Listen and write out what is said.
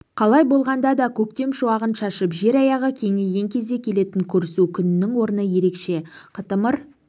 қалай болғанда да көктем шуағын шашып жер аяғы кеңіген кезде келетін көрісу күнінің орны ерекше қытымыр